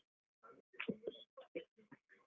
.